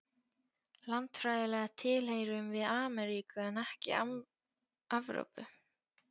Landfræðilega tilheyrum við Amríku en ekki Evrópu.